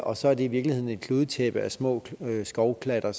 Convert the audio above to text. og så er det i virkeligheden et kludetæppe af små skovklatter